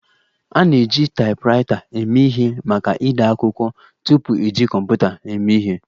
A na-eji taipwraita eme ihe maka ide akwụkwọ tupu eji kọmputa eme ihe